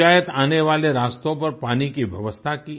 पंचायत आने वाले रास्तों पर पानी की व्यवस्था की